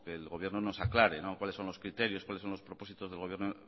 que el gobierno nos aclare cuáles son los criterios cuáles son los propósitos del gobierno